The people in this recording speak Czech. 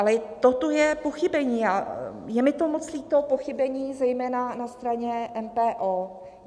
Ale toto je pochybení a je mi to moc líto, pochybení zejména na straně MPO.